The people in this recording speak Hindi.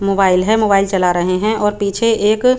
मोबाइल है मोबाइल चला रही है और पिछे एक --